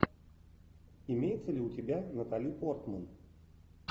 имеется ли у тебя натали портман